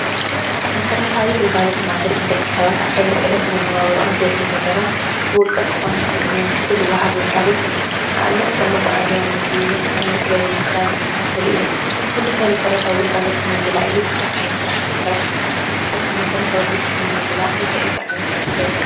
መሰረታዊ ግልጋሎት ማለትን ደቂ ሰባት ዕለት ዕለት መናብሮኦም ዘድልዩ ነገራት ብውልቀ ክኾን ወይ ብመንግስቲ ዝወሃብ ግልጋሎት እዩ። ንኣብነት ፦ መጉዓዝያ፣ መስተ፣ መፅለሊ፣ ክዳን ዝመሳሰሉ እዩም። ኩሉ ሰብ ዕለታዊ መሰረታዊ ግልጋሎት ኢሉ ብዙሕ ዓይነት ስራሕቲ ይሰርሕ። ንስኩም ከ መሰረታዊ ድሌትኩም ንምምላእ እንታይ እንታይ ዓይነት ስራሕ ትሰርሑ ?